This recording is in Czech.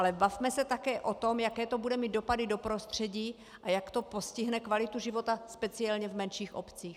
Ale bavme se také o tom, jaké to bude mít dopady do prostředí a jak to postihne kvalitu života, speciálně v menších obcích.